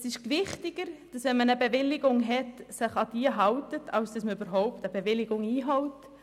Es ist wichtiger, sich an eine Bewilligung zu halten, wenn man eine hat, als überhaupt eine Bewilligung einzuholen.